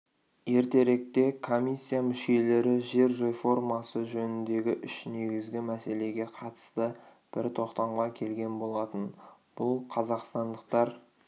ертеректе комиссия мүшелері жер реформасы жөніндегі үш негізгі мәселеге қатысты бір тоқтамға келген болатын бұл қазақстандықтар